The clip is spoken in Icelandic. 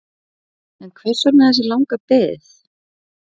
En hvers vegna þessi langa bið?